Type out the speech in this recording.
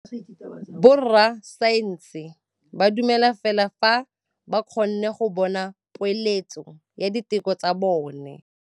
Borra saense ba dumela fela fa ba kgonne go bona poeletsô ya diteko tsa bone.